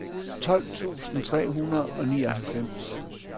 tolv tusind tre hundrede og nioghalvfems